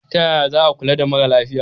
Ta yaya za a kula da mara lafiya?